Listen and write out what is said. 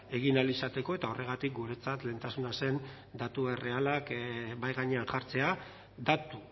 egin ahal izateko eta horregatik guretzat lehentasuna zen datu errealak mahai gainean jartzea datu